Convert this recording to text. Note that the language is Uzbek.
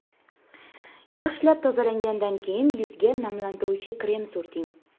Yaxshilab tozalagandan keyin yuzga namlantiruvchi krem surting.